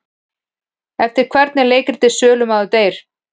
Eftir hvern er leikritið Sölumaður deyr?